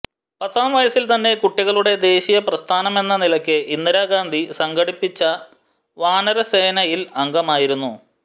പത്താം വയസ്സിൽ തന്നെ കുട്ടികളുടെ ദേശീയ പ്രസ്ഥാനമെന്ന നിലക്ക് ഇന്ദിരാ ഗാന്ധി സംഘടിപ്പിച്ച വാനരസേനയിൽ അംഗമായിരുന്നു